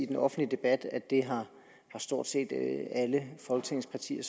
den offentlige debat at det har stort set alle folketingets partier